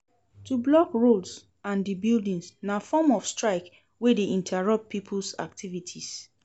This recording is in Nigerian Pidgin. To block roads ande buildings na form of strike wey de interupt pipo's activities